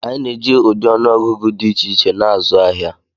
Anyị na-eji ụdị ọnụ ọgụgụ dị iche iche na-azụ ahịa.